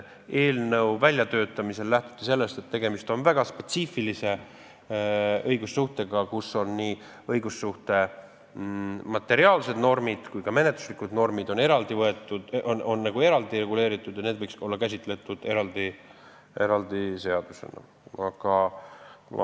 Eelnõu väljatöötamisel lähtuti sellest, et tegemist on väga spetsiifilise õigussuhtega, kus on nii õigussuhte materiaalsed normid kui ka menetluslikud normid eraldi võetud ning nagu eraldi reguleeritud ja need võiksid olla käsitletud eraldi seaduses.